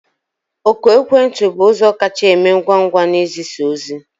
Oku ekwentị bụ ụzọ kacha eme ngwa ngwa n'izisa ozi